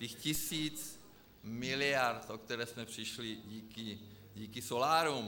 Těch tisíc miliard, o které jsme přišli díky solárům.